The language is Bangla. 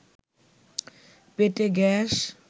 পেটে গ্যাস